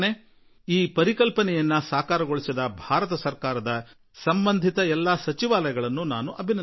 ಈ ಒಂದು ಕಲ್ಪನೆಯನ್ನು ಸಾಕಾರಗೊಳಿಸಿದ ಭಾರತ ಸರ್ಕಾರದ ಎಲ್ಲ ಸಚಿವ ಖಾತೆಗಳು ಸಚಿವರೆಲ್ಲರನ್ನೂ ಅಭಿನಂದಿಸುವೆ